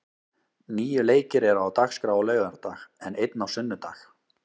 Níu leikir eru á dagskrá á laugardag, en einn á sunnudag.